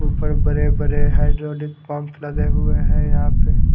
ऊपर बड़े बड़े हाइड्रोलिक पंप लगे हुए हैं यहां पे।